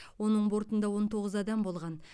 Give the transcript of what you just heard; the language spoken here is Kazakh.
оның бортында он тоғыз адам болған